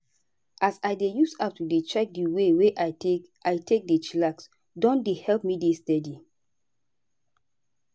as i dey use app to dey check di way wey i take i take dey chillax don dey help me dey steady.